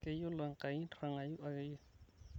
keyiolo enkai ntirrngayu ake iye